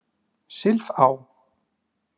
Silfá